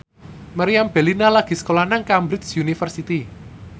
Meriam Bellina lagi sekolah nang Cambridge University